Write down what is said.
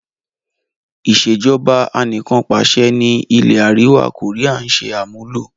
Ìsèjọba anìkanpàṣẹ ni ilẹ̀ àríwá koría ń ṣe àmúlò.